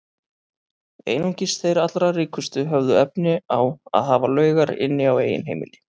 Einungis þeir allra ríkustu höfðu efni á að hafa laugar inni á eigin heimili.